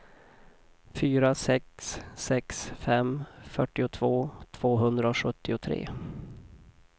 fyra sex sex fem fyrtiotvå tvåhundrasjuttiotre